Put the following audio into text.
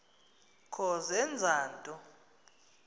kho zenza nto